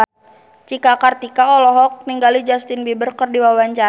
Cika Kartika olohok ningali Justin Beiber keur diwawancara